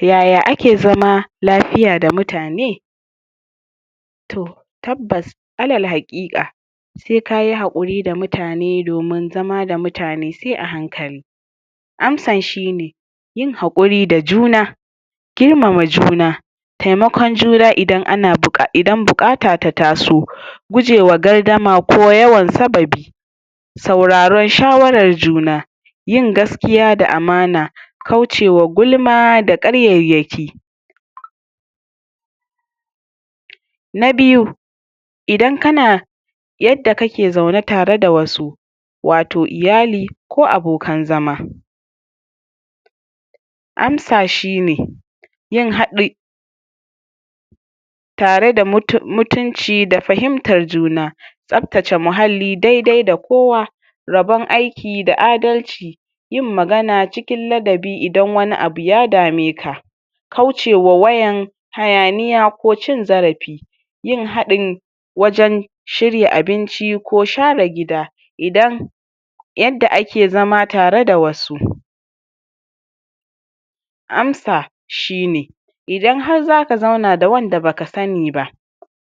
Yaya ake zama lafiya da mutane. To tabbas, alal haƙiƙa se kayi haƙuri da mutane, domin zama da mutane sai a hankali. Amsan shine, yin haƙuri da juna, girmama juna, taimakon juna idan buƙata ta taso, gujewa gardama ko yawan sababi, sauraron shawarar juna, yin gaskiya da amana, kaucewa gulma da ƙaryayyaki. Na biyu, yadda kake zaune tare da wasu, wato iyali, ko abokan zama. Amsa shine, yin haɗi tare da mutunci da fahimtar juna, tsaftace muhalli dai-dai da kowa, rabon aiki da adalci, yin magana cikin ladabi idan wani abu ya dameka, kaucewa wayan hayaniya ko cin zarafi, yin haɗin wajan shirya abinci ko share gida, idan yadda ake zama tare da wasu. Amsa shine: idan har zaka zauna da wanda baka sani ba,